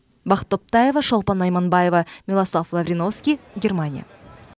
бақыт топтаева шолпан найманбаева милослав лавриновский германия